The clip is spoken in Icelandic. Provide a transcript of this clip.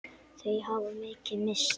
Þau hafa mikið misst.